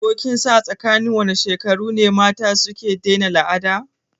Ko kinsan a tsakinin wane shekaru ne mata suke daina al'ada?